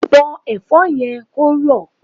Bọ́ Ẹ̀fọ́ yẹn kó rọ̀!